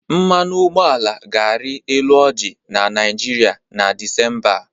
Mmanụ ụgbọala ga-arị elu ọji na Nịajịrịa na Desimba a.